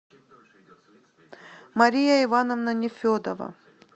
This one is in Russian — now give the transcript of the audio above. мария ивановна нефедова